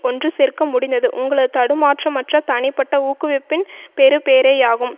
ஒன்றுசேர்க்க முடிந்தது உங்களது தடுமாற்றமற்ற தனிப்பட்ட ஊக்குவிப்பின் பெறுபேறேயாகும்